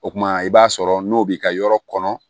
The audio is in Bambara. O kumana i b'a sɔrɔ n'o b'i ka yɔrɔ kɔnɔ